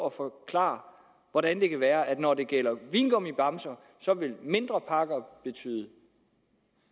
at forklare hvordan det kan være at når det gælder vingummibamser så vil mindre pakker betyde